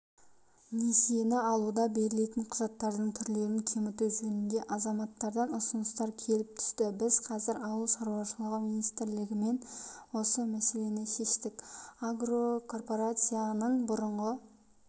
несиені алуда берілетін құжаттардың түрлерін кеміту жөнінде азаматардан ұсыныстар келіп түсті біз қазір ауыл шаруашылығы министрлігімен осы мәселені шештік агрокорпорацияның бұрынғы